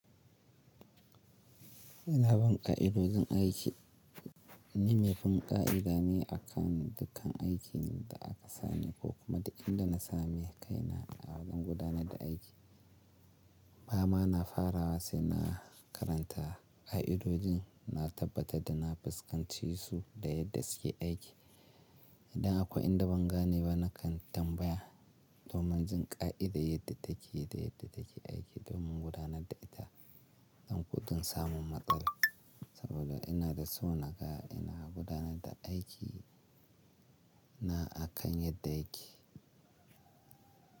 Ina bin ƙa'idojin aiki. Ni mai bin ƙa'ida ne akan dukkan aikin da aka sani ko kuma da in da na same kaina a lokacin gudanar da aiki. Ba ma na farawa sai na karanta ƙa'idojin, na tabbatar da na fuskance su da yadda suke aiki. Idan akwai inda ban gane ba na kan tambaya domin jin ƙa'ida yadda take da yadda take aiki domin gudanar da ita don gudun samun matsala. Saboda ina da so na ga ina gudanar da aiki na akan yadda yake.